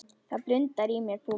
Það blundar í mér púki.